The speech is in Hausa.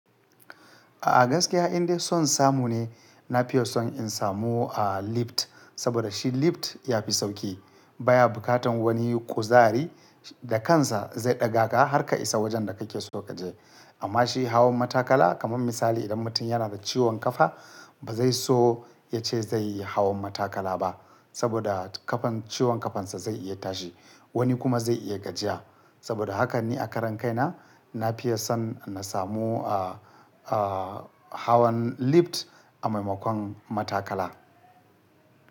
A'a gaskiya indai son samu ne, na fiye son in samu a lift saboda shi lift ya fi sauƙi. Ba ya buƙatan wani kuzari da kansa zai ɗaga ka har ka isa wajen da kake so ka je. Amma shi hawan matakala, kamar misali idan mutum yana da ciwon kafa ba zai so ya ce zai yi hawan matakala ba saboda kafan, ciwon kafan sa zai iya tashi. Wani kuma zai iya gajiya saboda haka ne a karan kai na, na fiya son na samu a, a hawan lift a maimakon matakala.